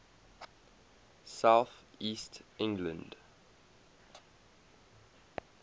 south east england